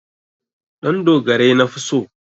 Ɗandogarai nafi so.